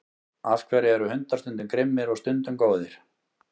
af hverju eru hundar stundum grimmir og stundum góðir